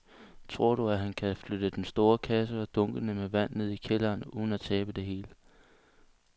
Tror du, at han kan flytte den store kasse og dunkene med vand ned i kælderen uden at tabe det hele?